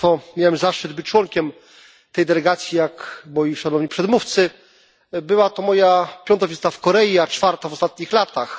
Miałem zaszczyt być członkiem tej delegacji, jak moi szanowni przedmówcy. Była to moja piąta wizyta w Korei, a czwarta w ostatnich latach.